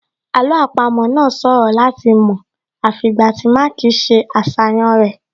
Àlọ́ àpamọ́ náà ṣòro láti mọ̀ àfi ìgbà tí Mark ṣe àṣàyàn rẹ̀